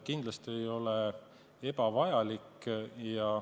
Kindlasti ei ole ebavajalik.